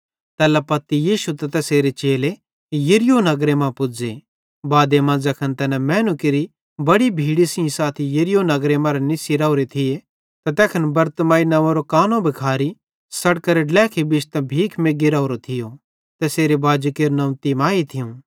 तैल्ला पत्ती यीशु त तैसेरे चेले यरीहो नगरे मां पुज़्ज़े बादे मां ज़ैखन तैना मैनू केरि बड़ी भीड़ी सेइं साथी यरीहो नगरी मरां निस्सी राओरे थिये त तैखन बरतिमाई नंव्वेरो कानो भिखारी सड़केरे ड्लेखी बिश्तां भीख मेग्गी राओरो थियो तैसेरे बाजी केरू नंव्व तिमाई थियूं